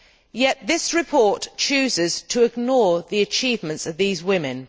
yet this report chooses to ignore the achievements of these women.